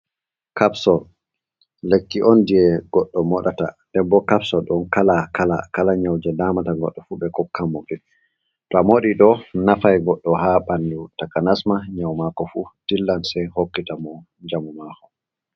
kapson lekki on je goɗɗo modata, denɓo kapson don kala kala kala nyauje damata godɗo fu be hokkanmo to amodi do nafa goɗɗo ha bandu ,takanasma nyau mako fu dillan sai hokkita mo jamu mako.